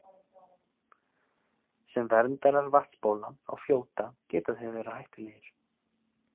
Sem verndarar vatnsbóla og fljóta geta þeir verið hættulegir.